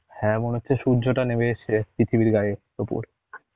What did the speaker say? হ্যাঁ মনে হচ্ছে সূর্যটা নেমে এসেছে পৃথিবীর গায়ের উপর